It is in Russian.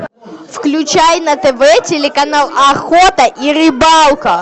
включай на тв телеканал охота и рыбалка